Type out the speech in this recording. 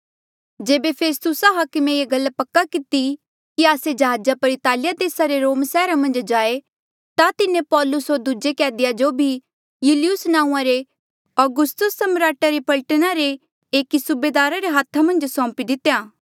जेबे फेस्तुसा हाकमे ये गल पक्की किती कि आस्से जहाजा पर इतालिया देसा रे रोम सैहरा मन्झ जाए ता तिन्हें पौलुस होर दूजे कैदिया जो भी यूलियुस नांऊँआं रे औगुस्तुसा सम्राट री पलटना रे एकी सूबेदारा रे हाथा मन्झ सौंपी दितेया